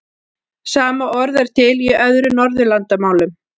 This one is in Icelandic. Sama orð er til í öðrum Norðurlandamálum.